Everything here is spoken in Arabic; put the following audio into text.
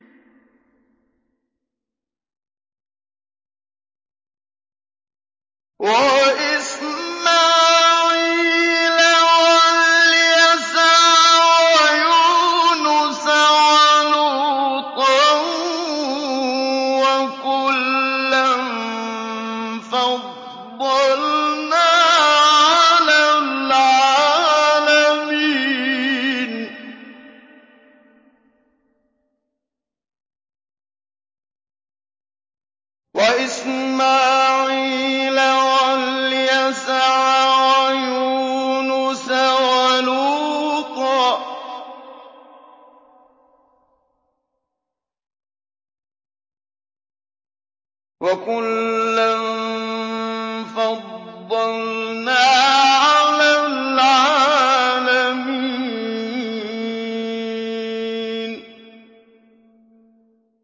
وَإِسْمَاعِيلَ وَالْيَسَعَ وَيُونُسَ وَلُوطًا ۚ وَكُلًّا فَضَّلْنَا عَلَى الْعَالَمِينَ